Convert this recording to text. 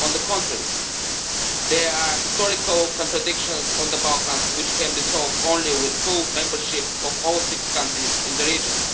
On the contrary, there are historical contradictions in the Balkans which can be solved only with the full membership of all six countries in the region.